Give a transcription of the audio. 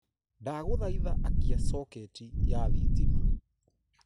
ndaguthaitha akia soketi ya thitima